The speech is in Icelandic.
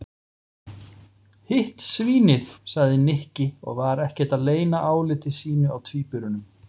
Hitt svínið sagði Nikki og var ekkert að leyna áliti sínu á tvíburunum.